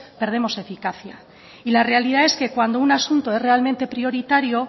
perdemos eficacia la realidad es que cuando un asunto es realmente prioritario